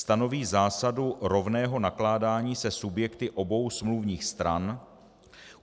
Stanoví zásadu rovného nakládání se subjekty obou smluvních stran.